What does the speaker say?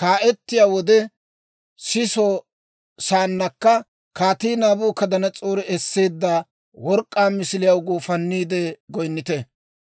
kaa'iyaa wode siso saannakka, Kaatii Naabukadanas'oore esseedda work'k'aa misiliyaw guufanniide goyinnite.